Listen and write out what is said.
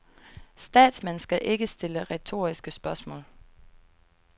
Statsmænd skal ikke stille retoriske spørgsmål.